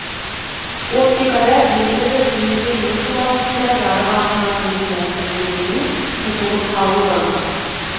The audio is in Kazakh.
оптикада белгілі бір денеден өту барысында жарық ағымы энергиясы бөлігінің тұтылып қалуы